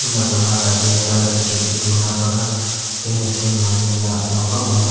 enakura na tatae tala bichae tae tina para fanacin marikae na lamba ase.